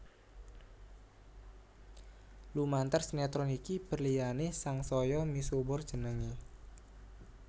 Lumantar sinetron iki berliana sangsaya misuwur jenengé